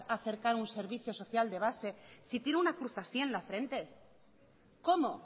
acercar un servicio social de base si tiene una cruz así en la frente cómo